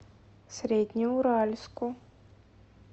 среднеуральску